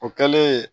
O kɛlen